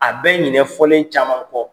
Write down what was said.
A bɛ ɲinƐ fɔlen caman kɔ.